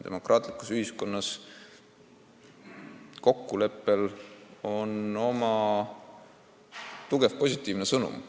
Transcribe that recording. Demokraatlikus ühiskonnas annab kokkulepe tugeva positiivse sõnumi.